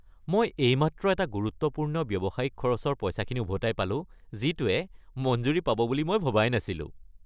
মই এইমাত্ৰ এটা গুৰুত্বপূৰ্ণ ব্যৱসায়িক খৰচৰ পইচাখিনি উভতাই পালোঁ যিটোৱে মঞ্জুৰি পাব বুলি মই ভবাই নাছিলোঁ।